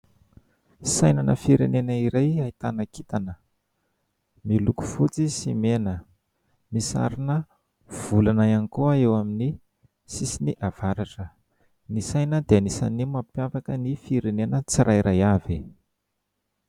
Saina na firenena iray ahitana kintana miloko fotsy sy mena, misy sarina volana iany koa eo amin' ny sisiny avaratra. Ny saina dia anisany mampiavaka ny firenena tsirairay avy.